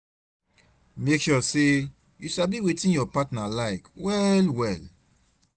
mek sure say yu sabi wetin yur partner like well well